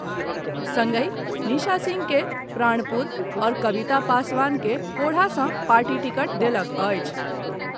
संगहि निशा सिंह के प्राणपुर आओर कबिता पासवान के कोढ़ा सॅ पार्टी टिकट देलक अछि।